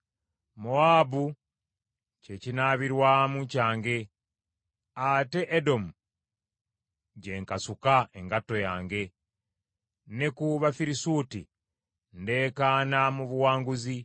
Mowaabu kye kinaabirwamu kyange, ate Edomu gye nkasuka engatto yange: ne ku Bafirisuuti ndeekaana mu buwanguzi.”